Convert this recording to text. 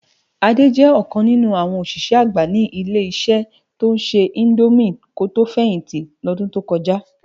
Ade jè okàn ninú áwòn oṣiṣẹ ágbá ni ile-iṣẹ tó nṣè indómi kó tó fẹhinti lòdún tó kòjá